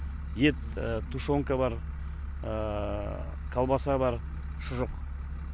ет тушенка бар колбаса бар шұжық